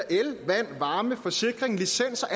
el vand varme forsikring licens og